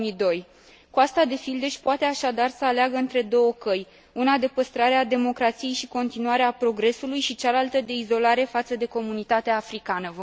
2002. Coasta de Fildeș poate, așadar, să aleagă între două căi una de păstrare a democrației și continuare a progresului, și cealaltă de izolare față de comunitatea africană.